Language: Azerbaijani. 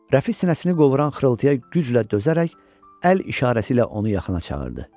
Rəfi sinəsini qovuran xırıltıya güclə dözərək əl işarəsi ilə onu yaxına çağırdı.